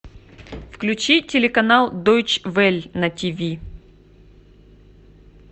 включи телеканал дойч вель на ти ви